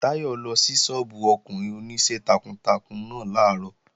Táyọ̀ lọ sí sọ́ọ́bù ọkùnrin Oníṣẹ́ takuntakun náà làárọ̀